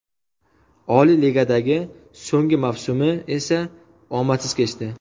Oliy Ligadagi so‘nggi mavsumi esa omadsiz kechdi.